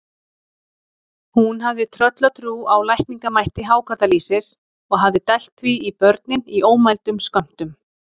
Hún hafði tröllatrú á lækningamætti hákarlalýsis og hafði dælt því í börnin í ómældum skömmtum.